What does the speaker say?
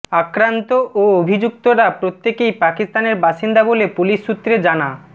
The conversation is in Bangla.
আক্রান্ত ও অভিযুক্তরা প্রত্যেকেই পাকিস্তানের বাসিন্দা বলে পুলিস সূত্রে জানা